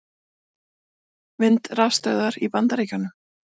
Vindrafstöðvar í Bandaríkjunum.